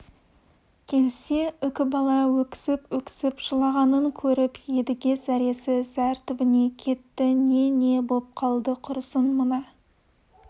келсе үкібала өксіп-өксіп жылағанын көріп едіге зәресі зәр түбіне кетті не не боп қалды құрысын мына